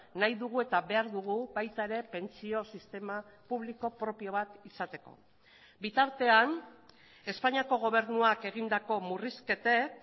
nahi dugu eta behar dugu baita ere pentsio sistema publiko propio bat izateko bitartean espainiako gobernuak egindako murrizketek